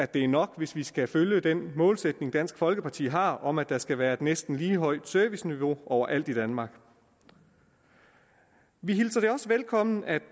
det er nok hvis vi skal følge den målsætning som dansk folkeparti har om at der skal være et næsten lige højt serviceniveau over alt i danmark vi hilser også velkommen at